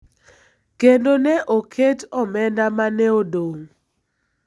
kendo ne oket omenda ma ne odong�.